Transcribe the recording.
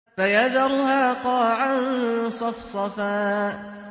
فَيَذَرُهَا قَاعًا صَفْصَفًا